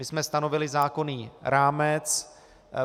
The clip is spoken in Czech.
My jsme stanovili zákonný rámec.